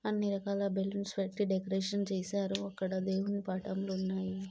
అన్ని రకాల బెలూన్స్ పెట్టి డెకరేషన్ చేశారు. అక్కడ దేవుని పటాలు ఉన్నాయి.